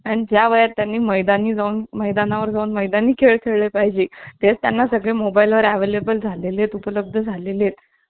अगं नाही. मी कस कि गावच्या मराठी शाळेत होते ना. गावच्या मराठी शाळेत कितीशी पोरं. वीस~ वीस पंचवीस पोरं असतात जास्तीत जास्त नाहीतर कुठे कोण असत. मग काय हुंदडायचं नुस~